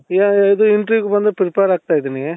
ಇವಾಗ ಇದು interview ಗೆ ಬಂದು prepare ಆಗ್ತಾ ಇದೀನಿ